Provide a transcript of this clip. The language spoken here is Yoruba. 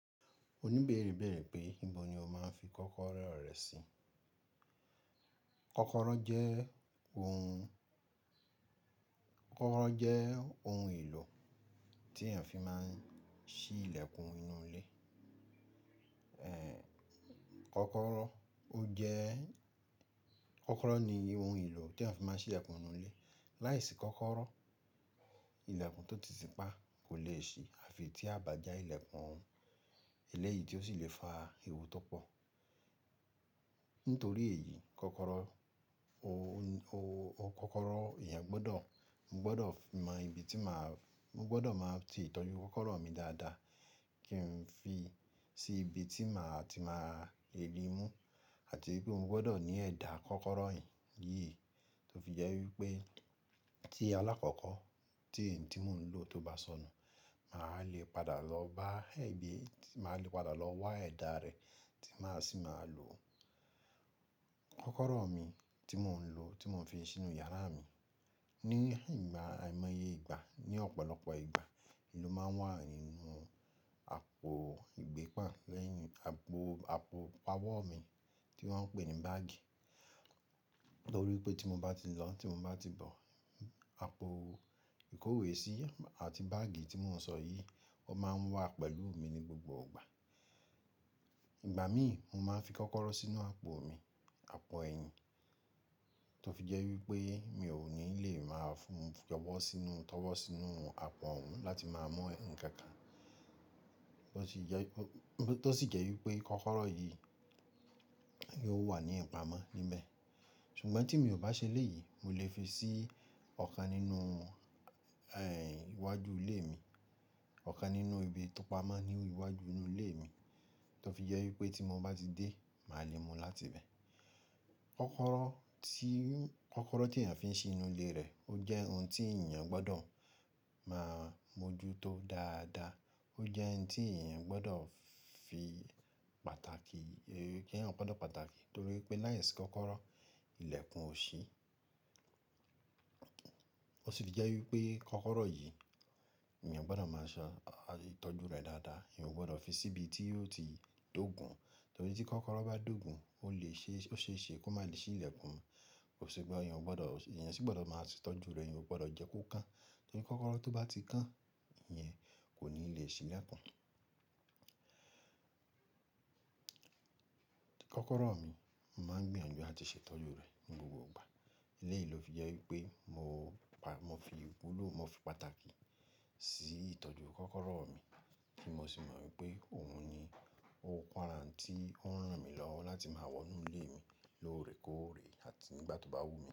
Oníbéèrè béèrè pé, "níbo ni o máa ń fi kọ́kọ́rọ́ rẹ̀ sí?" Kọ́kọ́rọ́ jẹ́ ohun, kọ́kọ́rọ́ jẹ́ ohun èlò tí èèyàn fi máa ń ṣí ilẹ̀kùn inú ilé. Kọ́kọ́rọ́ ó jẹ́, kọ́kọ́rọ́ ni ohun èlò tí èèyàn fi máa ń ṣí ilẹ̀kùn inú ilé. Láìsí kọ́kọ́rọ́, ilẹ̀kùn tó ti ti pa kò lè ṣí àfi tí a bàjá ilẹ̀kùn, èléyìí tí ó sì le fa ewu tọ́pọ̀. Nítorí èyí, kọ́kọ́rọ́, o-o-o kọ́kọ́rọ́ èèyàn gbọ́dọ̀, mo gbọ́dọ̀ mọ ibi tí mà á, mo gbọ́dọ̀ máa ti tọ́jú kọ́kọ́rọ́ mi dáadáa kí n fi sí ibi tí mà á ti máa le mú àti pé mo gbọ́dọ̀ ní ẹ̀dà kọ́kọ́rọ́ yìí tó fi jẹ́ wípé tí alákọ̀ọ́kọ́, tí èyí tí mò ń lò tó bá sọnù, mà á lè padà lọ bá ẹ̀gբẹ́, mà á lè padà lọ wá ẹ̀dà rẹ̀ tí mà á sì máa lò. Kọ́kọ́rọ́ mi tí mò ń lò, tí mò ń fi sínú yàrá mi ní ìgbà àìmọye ìgbà, ní ọ̀pọ̀lọpọ̀ ìgbà, lo máa ń wà nínú àpò ìgbépá lẹ́yìn àpò, àpò ipawo mi tí wọ́n ń pè ní báàgì. Nítorí wípé tí mo bá ti lọ, tí mo bá ti bọ̀, àpò ìkówèésí àti báàgì tí mò ń sọ yìí, ó máa ń wà pẹ̀lú mi ní gbogbo ìgbà. Ìgbà mí, mo máa ń fi kọ́kọ́rọ́ sínú àpò mi, àpò ẹyin tó fi jẹ́ wípé mi ò ní lè máa fún, towo sínú, tọ́wọ́ sínú àpò òun láti máa mú ẹ̀yin káàká. Tó sì jẹ́, tó sì jẹ́ wípé kọ́kọ́rọ́ yìí yóò wà ní ìpamọ́ níbẹ̀. Ṣùgbọ́n tí mi ò bá ṣe léyìí, mo lè fi sí ọ̀kan nínú, ehn, iwájú ilé mi, ọ̀kan nínú ibi tó pamọ́ ní iwájú nínú ilé mi tó fi jẹ́ wípé tí mo bá ti dé, mà á le mu láti ibẹ̀. Kọ́kọ́rọ́ tí, kọ́kọ́rọ́ tí èèyàn fi ń ṣí inú ilé rẹ̀ ó jẹ́ ohun tí èèyàn gbọ́dọ̀ máa mójú tó dáadáa. Ó jẹ́ ohun tí èèyàn gbọ́dọ̀ fi pàtàkì, kí èèyàn gbọ́dọ̀ pàtàkì torí pé láìsí kọ́kọ́rọ́, ilẹ̀kùn ò ṣí. Ó sì fi jẹ́ wípé kọ́kọ́rọ́ yìí èèyàn gbọ́dọ̀ máa sọ, tọ́jú rẹ̀ dáadáa. Èèyàn gbọ́dọ̀ fi sí ibi tí yóò ti dógun torí tí kọ́kọ́rọ́ bá dógùn, ó lè ṣe, ó ṣe é ṣe kó má le ṣí ilẹ̀kùn. Ó ṣe pé èèyàn gbọ́dọ̀, èèyàn sì gbọ́dọ̀ máa sì tọ́jú rẹ̀, èèyàn gbọ́dọ̀ jẹ́ kó kán torí kọ́kọ́rọ́ tó bá ti kán, ìyẹn kò ní lè ṣí ilẹ̀kùn. Kọ́kọ́rọ́ mi, mo máa ń gbìyànjú láti ṣe ìtọ́jú rẹ̀ ní gbogbo ìgbà. Ilé yìí ló fi jẹ́ wípé mo pa, mo fi wúlò, mo fi pàtàkì sí ìtọ́jú kọ́kọ́rọ́ mi kí mo sì mọ̀ wípé òun ni, ó ń pa ranti, ó ń ràn mí lọ́wọ́ láti máa wọ́nú ilé mi lóòrèkóòrè àti nígbà tó bá wù mí.